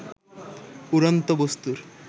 উড়ন্ত বস্তু্র